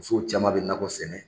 Musow caman bɛ nakɔ sɛnɛ.